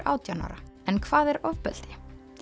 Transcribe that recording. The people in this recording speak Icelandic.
átján ára en hvað er ofbeldi